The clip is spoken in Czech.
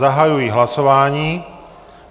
Zahajuji hlasování.